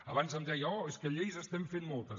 abans em deia oh és que de lleis n’estem fent moltes